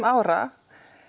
ára